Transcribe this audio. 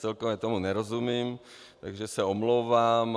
Celkově tomu nerozumím, takže se omlouvám.